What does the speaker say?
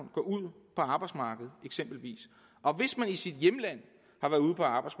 går ud på arbejdsmarkedet og hvis man i sit hjemland